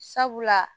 Sabula